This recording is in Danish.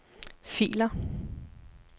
filer